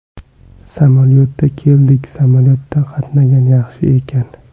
Samolyotda keldik samolyotda qatnagan yaxshi ekan.